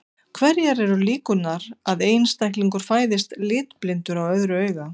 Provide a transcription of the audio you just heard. Hverjar eru líkurnar að einstaklingur fæðist litblindur á öðru auga?